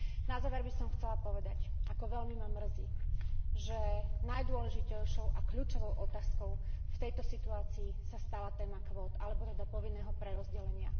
Na záver by som chcela povedať, ako veľmi ma mrzí, že najdôležitejšou a kľúčovou otázkou v tejto situácii sa stala téma kvót, alebo teda povinného prerozdelenia.